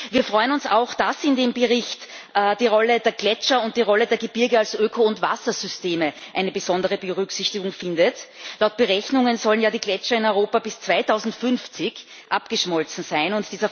Wir freuen uns auch, dass in dem Bericht die Rolle der Gletscher und die Rolle der Gebirge als Öko und Wassersysteme eine besondere Berücksichtigung findet. Laut Berechnungen sollen die Gletscher in Europa bis 2050 abgeschmolzen sein.